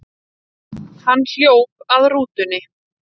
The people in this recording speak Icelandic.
Hann hljóp að rútunni.